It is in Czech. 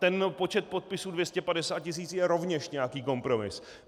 Ten počet podpisů 250 tisíc je rovněž nějaký kompromis.